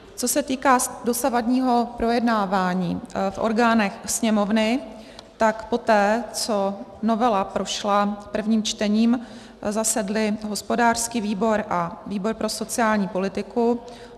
Co se týká dosavadního projednávání v orgánech Sněmovny, tak poté, co novela prošla prvním čtením, zasedly hospodářský výbor a výbor pro sociální politiku.